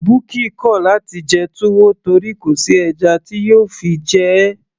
bukky kò láti jẹ túwó torí kò sí ẹja tí yóò fi jẹ ẹ́